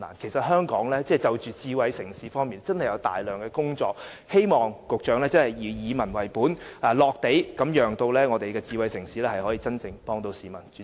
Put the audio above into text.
其實香港就着智慧城市方面真的有大量工作要做，希望局長以民為本，並且注重實用，讓智慧城市可以真正幫助市民。